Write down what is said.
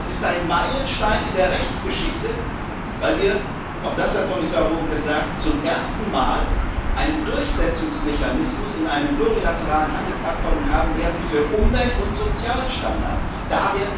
Es ist ein Meilenstein in der Rechtsgeschichte, weil wir auch das hat Kommissar Hogan gesagt zum ersten Mal einen Durchsetzungsmechanismus in einem plurilateralen Handelsabkommen für Umwelt und Sozialstandards haben werden.